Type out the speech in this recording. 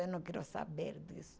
Eu não quero saber disso.